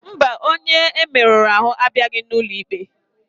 Mba, onye e merụrụ ahụ abịaghị n'ụlọ ikpe.